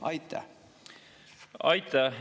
Aitäh!